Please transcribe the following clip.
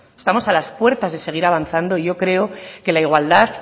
estamos a las puertas de seguir avanzando y yo creo que la igualdad